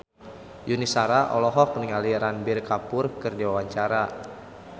Yuni Shara olohok ningali Ranbir Kapoor keur diwawancara